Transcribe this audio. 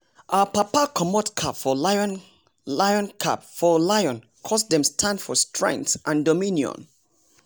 our papa comot cap for lion cap for lion coz dem stand for strength and dominion